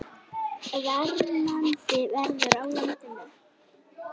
Plastefni eru efni úr einni eða fleiri tegundum fjölliða úr stórum hópi fjölliða.